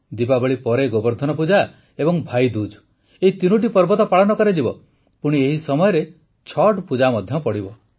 ଦୀପାବଳି ପରେ ଗୋବର୍ଦ୍ଧନ ପୂଜା ଏବଂ ଭାଇଦୁଜ୍ ଏହି ତିନିଟି ପର୍ବ ତ ପାଳନ କରାଯିବ ପୁଣି ଏହି ସମୟରେ ଛଠ୍ପୂଜା ମଧ୍ୟ ପଡ଼ିବ